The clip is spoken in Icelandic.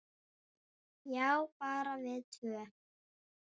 Já, bara við tvö.